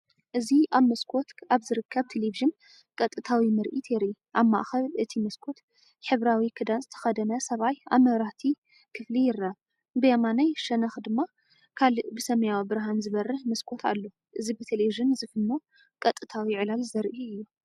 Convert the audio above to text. እዚ ኣብ መስኮት ኣብ ዝርከብ ቴሌቪዥን ቀጥታዊ ምርኢት የርኢ። ኣብ ማእከል እቲ መስኮት፡ ሕብራዊ ክዳን ዝተኸድነ ሰብኣይ ኣብ መብራህቲ ክፍሊ ይርአ፡ብየማናይ ሸነኽ ድማ ካልእ ብሰማያዊ ብርሃን ዝበርህ መስኮት ኣሎ። እዚ ብቴሌቪዥን ዝፍኖ ቀጥታዊ ዕላል ዘርኢ እዩ።